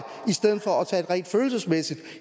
i stedet for at rent følelsesmæssig